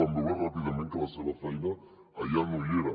vam veure ràpidament que la seva feina allà no hi era